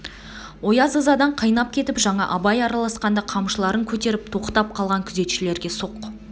ояз ызадан қайнап кетіп жаңа абай араласқанда қамшыларын көтеріп тоқтап қалған күзетшілерге соқ